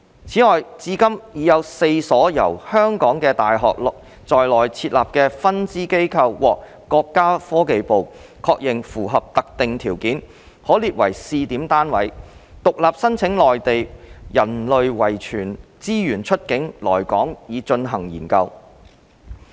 此外，至今已有4所由香港的大學在內地設立的分支機構獲國家科技部確認符合特定條件，可列為試點單位，獨立申請內地人類遺傳資源出境來港以進行研究。